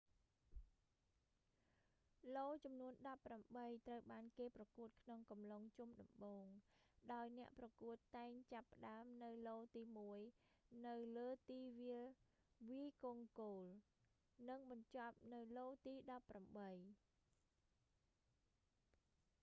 ឡូចំនួនដប់ប្រាំបីត្រូវបានគេប្រកួតក្នុងអំឡុងជុំដំបូង ដោយអ្នកប្រកួតតែងចាប់ផ្ដើមនៅឡូទីមួយនៅលើទីវាលវាយកូនគោល និងបញ្ចប់នៅឡូទីដប់ប្រាំបី